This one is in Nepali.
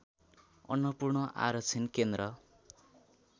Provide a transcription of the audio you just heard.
अन्नपूर्ण आरक्षण केन्द्र